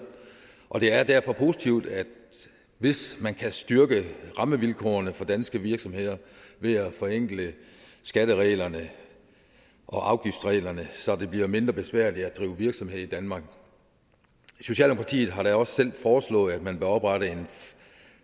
og det er derfor positivt hvis man kan styrke rammevilkårene for danske virksomheder ved at forenkle skattereglerne og afgiftsreglerne så det bliver mindre besværligt at drive virksomhed i danmark socialdemokratiet har da også selv foreslået at man bør oprette en